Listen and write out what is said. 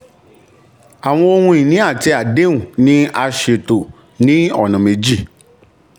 àwọn ohun ìní àti àdéhùn ni a ṣètò ní ọ̀nà méjì.